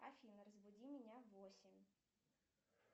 афина разбуди меня в восемь